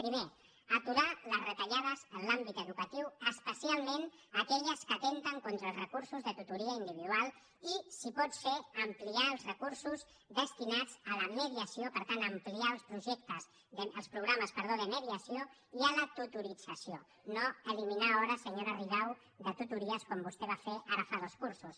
primer aturar les retallades en l’àmbit educatiu especialment aquelles que atempten contra els recursos de tutoria individual i si pot ser ampliar els recursos destinats a la mediació per tant ampliar els programes de mediació i a la tutorització no eliminar hores senyora rigau de tutories com vostè va fer ara fa dos cursos